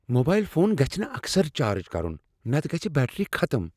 Mobile phone گژھِ نہ اکثر چارج کرُن نتہٕ گژھہ بیٹری ختم۔